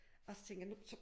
Og så tænkte jeg nu så